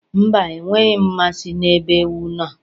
Mba, enweghị m mmasị n'ebe ewu no